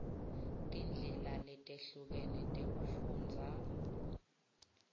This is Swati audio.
tindlela letehlukene tekufundza